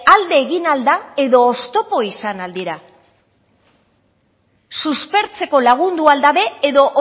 alde egin ahal da edo oztopo izan ahal dira suspertzeko lagundu al dabe edo